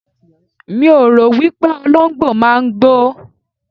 Mi ò rò wípé Olóǹgbò máa ń gbó.